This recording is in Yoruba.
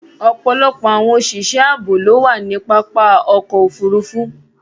Ọpọlọpọ̀ awọn oṣiṣẹ̀ ààbò ló wà ni pápá ọkọ̀ òfurufú